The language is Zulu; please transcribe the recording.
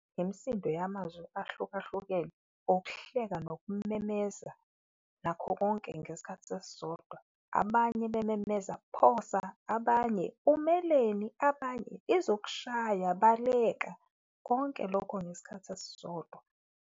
Imisindo yamazwi ahlukahlukene ukuhleka nokumemeza nakho konke ngesikhathi esisodwa. Abanye bememeza, phosa! Abanye, umeleni? Abanye, izokushaya, baleka! Konke lokho ngesikhathi esisodwa.